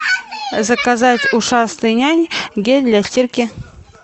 заказать ушастый нянь гель для стирки